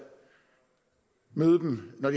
møde dem når